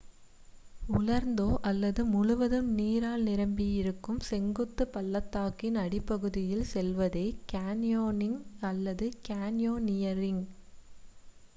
உலர்ந்தோ அல்லது முழுவதும் நீரால் நிரம்பியோ இருக்கும் செங்குத்து பள்ளத்தாக்கின் அடிப்பகுதிக்குள் செல்வதே கேன்யோனிங் அல்லது கேன்யோநியரிங்